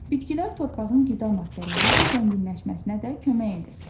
Bitkilər torpağın qida maddələri ilə zənginləşməsinə də kömək edir.